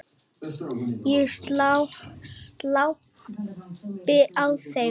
Ég glápi á þau.